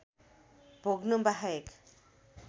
भोग्नु बाहेक